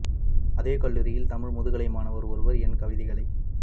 அதே கல்லூரியில் தமிழ் முதுகலை மாணவர் ஒருவர் என் கவிதைகளை